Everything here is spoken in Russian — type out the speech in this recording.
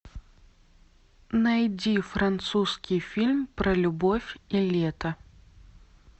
найди французский фильм про любовь и лето